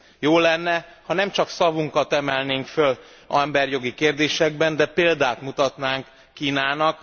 Jó lenne, ha nem csak szavunkat emelnénk föl emberi jogi kérdésekben, de példát mutatnánk Kínának.